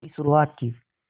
की शुरुआत की